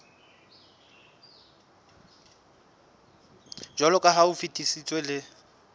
jwaloka ha o fetisitswe le